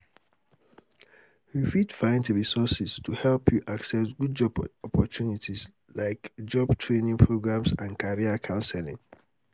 you fit find resources to help you access job opportunites like job training programs and career counseling.